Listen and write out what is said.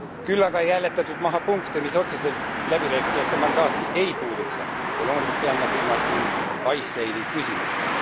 Küll aga ei hääletatud maha punkte, mis otseselt läbirääkijate mandaati ei puuduta, ja loomulikult pean ma silmas siin Icesave´i küsimust.